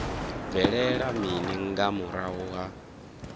bvelela mini nga murahu ha